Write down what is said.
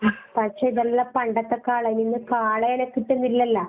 ഉം പക്ഷെ ഇതെല്ലാം പണ്ടത്തെ കാള ഇന്ന് കാളേനെ കിട്ടുന്നില്ലല്ലാ.